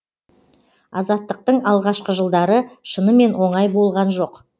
азаттықтың алғашқы жылдары шынымен оңай болған жоқ